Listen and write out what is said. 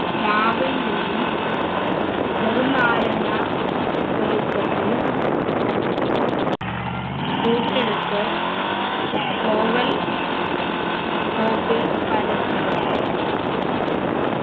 മാവിൽ നിന്നും ചെറുനാരങ്ങാ വലുപ്പത്തിൽ കൂട്ടെടുത്ത് oval ൽ പരത്തുക